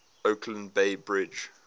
oakland bay bridge